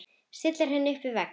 Stillir henni upp við vegg.